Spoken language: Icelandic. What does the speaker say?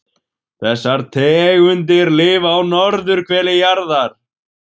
Þessar tegundir lifa á norðurhveli jarðar.